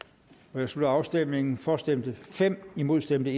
nu jeg slutter afstemningen for stemte fem imod stemte